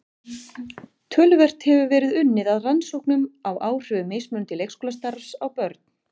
Töluvert hefur verið unnið að rannsóknum á áhrifum mismunandi leikskólastarfs á börn.